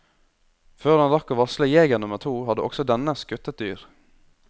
Før han rakk å varsle jeger nummer to hadde også denne skutt et dyr.